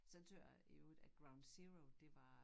Så tøt jeg i øvrigt at ground zero det var